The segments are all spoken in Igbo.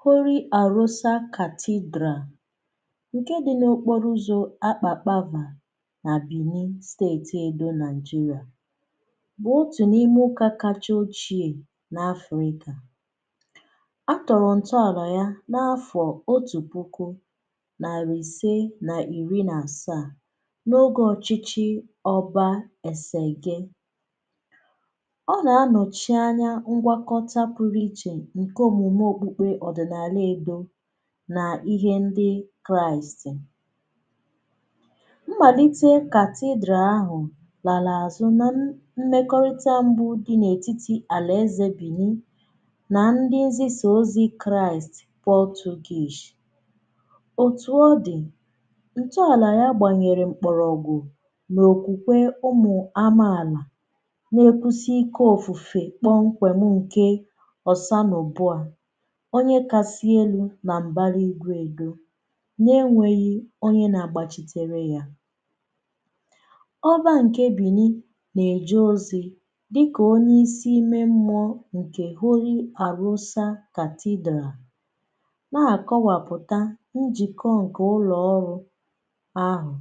Holy Arụsa cathedral nke dị n’okporo ụzọ̀ akpakpaava nà benin steeti edo nigeria bụ̀ otù n’ime ụkà kacha ochie nà afrịka. À tọrọ̀ ntọ àla yà nà afọ̀ otù puku, nàrị ise nà iri nà asaa, n’ogè ọchịchị ọbȧ esège. Ọ nà anọ̀chi anya ngwakọta pụrụ ichè nke omume okpukpe ọdịnala Edo n’ihe ndị kraịst. Mmàlite cathedral ahụ̀ làlà àzụ nà mmekọrịta mbụ̇ dị̀ n’ètitì àlà ezė bìnị nà ndị nzịsa ozi kraịst portuguese. Otù ọ dị̀, ǹtụàlà ya gbànyèrè mkpọrọ̀gwụ̀ mà okwùkwè ụmụ amààlà na-ekwusi ike ofùfe kpọm kwèm nkè ọsanùbụọa onye kasì elu̇ na ṁbara igwè Edȯ na enwėghi̇ onye na-agbachitere yȧ. Ọba ǹke bìnì nà-èjé ozì dịkà onye isi ime mmụọ̇ ǹkè holy Àrụsa cathedral nà-àkọwàpụ̀ta njìkọ ǹkè ụlọ̀ọrụ ahụ̀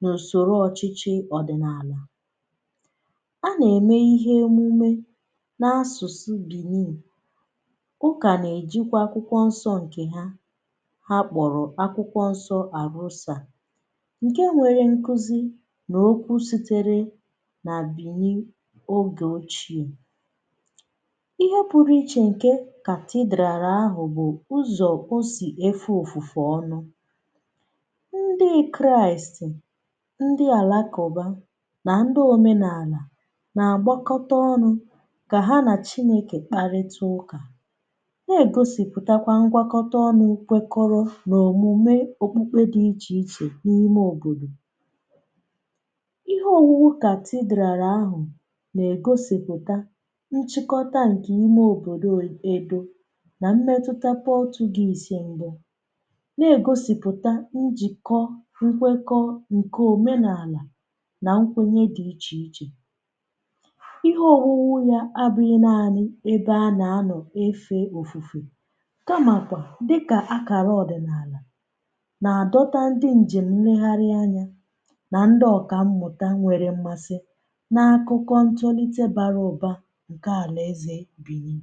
nà ùsòrò ọ̀chịchị ọ̀dị̀nàlà. A nà-ème ihe omume n’asụ̀sụ bìnì. Ụka na-ejikwa akwukwo nso nke ha, ha kpọ̀rọ̀ akwụkwọ nsọ ȧrusȧ nke nwere nkuzi nà okwu sitere nà bìni ogè ochie. Ihe pụrụ̇ ichè nke cathedral ahụ̀ bụ̀ ụzọ̀ o sì efe ofùfù ọnụ̇. Ndị kraìst, ndị àlakụ̀ba nà ndị òmenàlà nà-àgbakọta ọnụ̇ kà ha nà chinėkè kparịta ụkà na-egosìpụtakwa ngwakọta ọnụ nkwekọrọ na òmùme okpukpe dị ichè ichè n’ime òbòdò. Ihe ònwùwu cathedral ahụ nà-ègosìpụta nchịkọta ǹkè ime òbòdò Edȯ nà mmetuta portuguese m̀bụ. Nà-ègosìpụta njìkọ, nkwekọ̀ ǹkè òmenàlà nà nkwenye dị ichè ichè. Ihe ònwùwu ya abụghị nȧanị ebe ana ano efe ofufe kamakwa dịkà akara ọ̀dị̀nààlà, nà-àdọta ndi njem nregharị̀ anya nà ndị ọ̀kà mmụta nwere mmasị n’akụkọ ntolite bara ụba nke àlà ezè bìni.